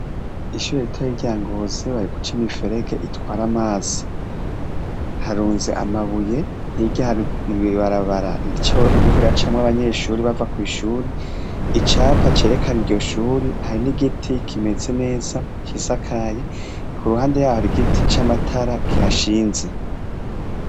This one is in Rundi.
Ishuri rita yirya ngozi bari guca ima iferege itwara amazi, harunze amabuye hirya barabara rityowe riko ra camwe abanyeshuri bava kw'ishuri icapa cerekana iryo shuri hari n'igiti kimeze neza cisakaye ku ruhande yaho ari igiti c'amatara gihashinze.